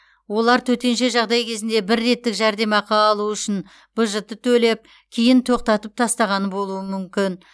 олар төтенше жағдай кезінде бір реттік жәрдемақы алу үшін бжт төлеп кейін тоқтатып тастаған болуы мүмкін